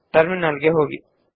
terminal ಗೆ ಹೋಗೋಣ